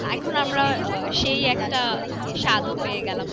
এখন আমরা আহ সেই একটা সাদও পেয়ে গেলাম।